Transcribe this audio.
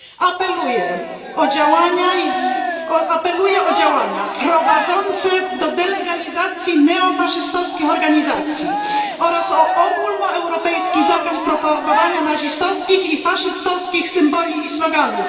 Apeluję o działania prowadzące do delegalizacji neofaszystowskich organizacji oraz o ogólnoeuropejski zakaz propagowania nazistowskich i faszystowskich symboli i sloganów.